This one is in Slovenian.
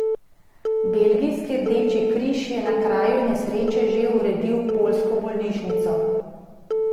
Belgijski Rdeči križ je na kraju nesreče že uredil poljsko bolnišnico.